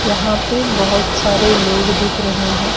यहां पे बहोत सारे लोग दिख रहे हैं।